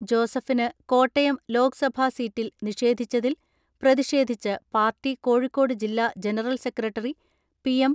ജോസഫിന് കോട്ടയം ലോക്സഭാ സീറ്റ് നിഷേധിച്ചതിൽ പ്രതിഷേധിച്ച് പാർട്ടി കോഴിക്കോട് ജില്ലാ ജനറൽ സെക്രട്ടറി പി.എം.